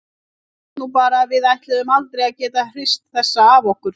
Ég hélt nú bara að við ætluðum aldrei að geta hrist þessa af okkur.